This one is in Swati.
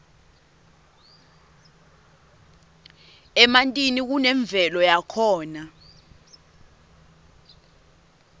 emantini kunemvelo yakhona